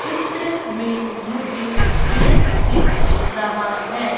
चित्र में मुझे पेड़ दिख रहा है।